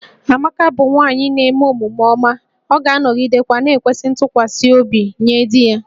Amaka bụ nwanyị na-eme omume ọma, ọ ga-anọgidekwa na-ekwesị ntụkwasị obi nye di ya